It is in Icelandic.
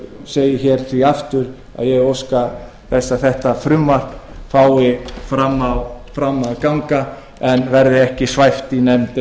því segi ég aftur að ég óska þess að frumvarpið nái fram að ganga en verði ekki svæft í nefnd